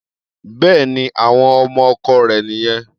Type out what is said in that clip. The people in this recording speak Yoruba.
Bẹ́ẹ̀ni, àwọn ọmọ ọkọ rẹ̀ nìyẹn.